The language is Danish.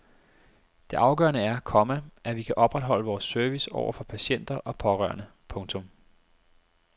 Det afgørende er, komma at vi kan opretholde vores service over for patienter og pårørende. punktum